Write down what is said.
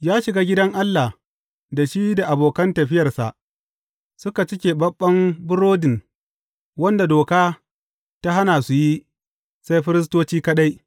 Ya shiga gidan Allah, da shi da abokan tafiyarsa suka ci keɓaɓɓen burodin, wanda doka ta hana su yi, sai firistoci kaɗai.